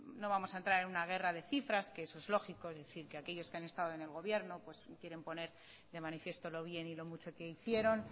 no vamos a entrar en una guerra de cifras que eso es lógico es decir que aquellos que han estado en el gobierno pues quieren poner de manifiesto lo bien y lo mucho que hicieron